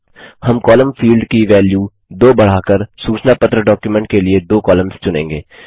हम column field की value 2 बढ़ाकर सूचना पत्र डॉक्युमेंट के लिए दो कॉलम्स चुनेंगे